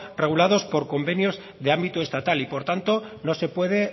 regulados por convenios de ámbito estatal y por tanto no se puede